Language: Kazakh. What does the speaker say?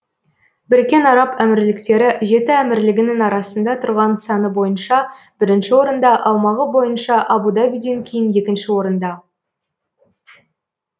біріккен араб әмірліктері жеті әмірлігінің арасында тұрған саны бойынша бірінші орында аумағы бойынша абу дабиден кейін екінші орында